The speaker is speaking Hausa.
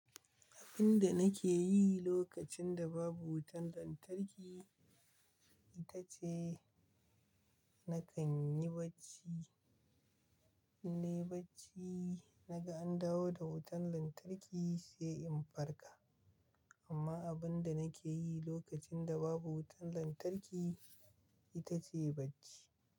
Abun da nake yi lokacin da babu wutan lantarki ita ce, na kan yi bacci. Innayi bacci, naga an dawo da wutan lantarki sai in farka. Amma abun da nake yi lokacin da babu wutan lantarki ita ce bacci.